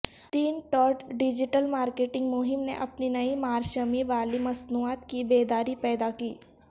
تین ٹارٹ digital marketing مہم نے اپنی نئی مارشمی والی مصنوعات کی بیداری پیدا کی